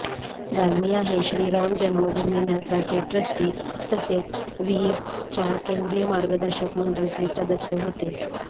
दालमिया हे श्री राम जन्मभूमी न्यासाचे ट्रस्टी तसेच विहिंपच्या केंद्रीय मार्गदर्शक मंडलचे सदस्य होते